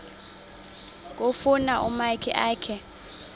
kufuna umakhi akhe